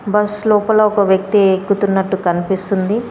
Bus లోపల ఒక వ్యక్తి ఎక్కుతున్నట్టు కన్పిస్తుంది.